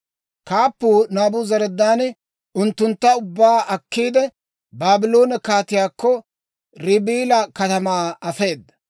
Kaappuu Naabuzaradaani unttuntta ubbaa akkiide, Baabloone kaatiyaakko, Ribila katamaa afeeda.